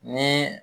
Ni